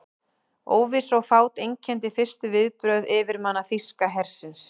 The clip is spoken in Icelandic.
Óvissa og fát einkenndi fyrstu viðbrögð yfirmanna þýska hersins.